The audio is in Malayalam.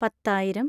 പത്തായിരം